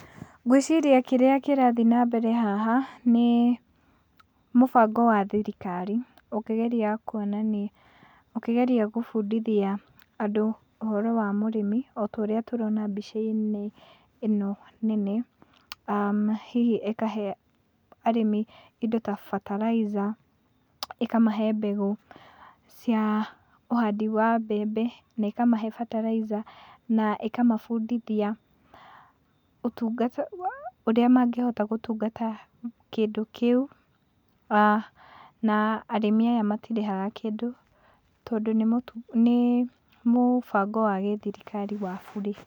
Ngwĩciria kĩrĩa kĩrathiĩ na mbere haha nĩ mũbango wa thirikari ũkĩgeria gũbundithia andũ ũhoro wa mũrĩmi ota ũrĩa tũrona mbica-inĩ ĩno nene, hihi ĩkahe arĩmi indo ta bataraitha, ĩkamahe mbegũ cia ũhandi wa mbembe na ĩkamahe bataraitha na ĩkamabundithia, ũtungata wa ũrĩa mangĩhota gũtungata kĩndũ kĩu, na arĩmi aya matirĩhaga kũndũ tondũ nĩ mũbango wa gĩthirikari wa burĩ.